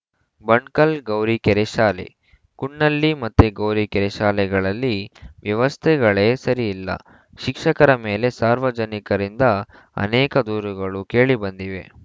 ಬಣ್ ಕಲ್‌ ಗೌರಿಕೆರೆ ಶಾಲೆ ಕುನ್ನಳ್ಳಿ ಮತ್ತು ಗೌರಿಕೆರೆ ಶಾಲೆಗಳಲ್ಲಿ ವ್ಯವಸ್ಥೆಗಳೆ ಸರಿಯಿಲ್ಲ ಶಿಕ್ಷಕರ ಮೇಲೆ ಸಾರ್ವಜನಿಕರಿಂದ ಅನೇಕ ದೂರುಗಳು ಕೇಳಿಬಂದಿವೆ